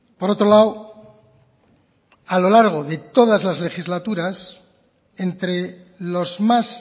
por otro lado a lo largo de todas las legislaturas entre los más